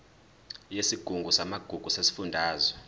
yesigungu samagugu sesifundazwe